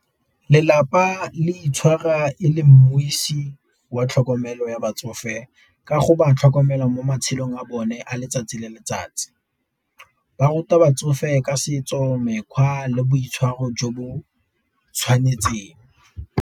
Lelapa le itshwara e le wa tlhokomelo ya batsofe, ka go ba tlhokomela mo matshelong a bone a letsatsi le letsatsi. Ba ruta batsofe ka setso, mekgwa le boitshwaro jo bo tshwanetseng.